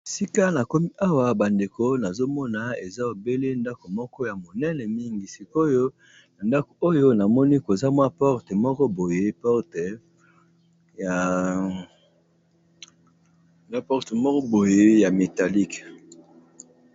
Sika na komi awa bandeko nazomona eza obele ndako moko ya monene mingi sikoyo na ndako oyo namoni koza mwa porte moko boye ya métallique.